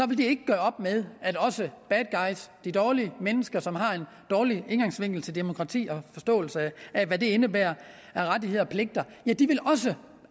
blive gjort op med at også the bad guys de dårlige mennesker som har en dårlig indgangsvinkel til demokrati og forståelsen af hvad det indebærer af rettigheder og pligter